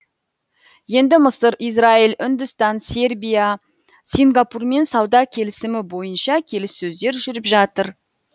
енді мысыр израиль үндістан сербия сингапурмен сауда келісімі бойынша келіссөздер жүріп жатыр